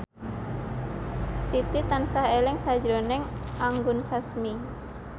Siti tansah eling sakjroning Anggun Sasmi